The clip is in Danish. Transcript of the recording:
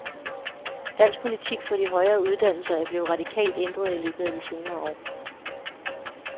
Dansk politik for de højere uddannelser er blevet radikalt ændret i løbet af de senere år.